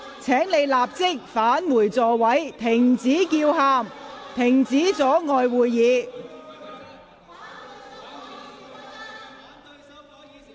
請你們立即返回座位，停止叫喊，不要阻礙會議進行。